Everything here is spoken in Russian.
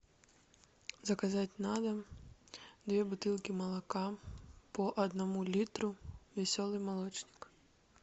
заказать на дом две бутылки молока по одному литру веселый молочник